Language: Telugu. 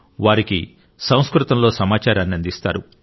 వారికి సంస్కృతంలో సమాచారాన్ని అందిస్తారు